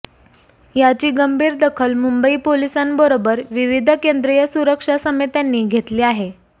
याची गंभीर दखल मुंबई पोलिसांबरोबर विविध केंद्रीय सुरक्षा समित्यांनी घेतली आहे